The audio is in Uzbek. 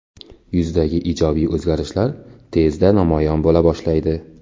Yuzdagi ijobiy o‘zgarishlar tezda namoyon bo‘la boshlaydi.